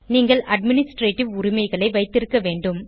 நீங்கள் அட்மினிஸ்ட்ரேட்டிவ் உரிமைகளை வைத்திருக்க வேண்டும்